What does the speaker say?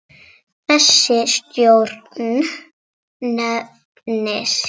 Þessi stjórn nefnist